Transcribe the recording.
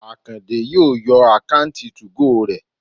Àkàndé yóò yọ àkáùntì 2go rẹ̀